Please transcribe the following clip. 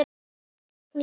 Hún leit undan.